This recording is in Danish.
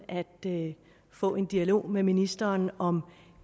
at få en dialog med ministeren om